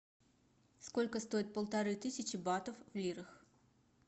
сколько стоит полторы тысячи батов в лирах